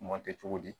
Mɔ kɛ cogo di